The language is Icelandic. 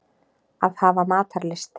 Að hafa matarlyst.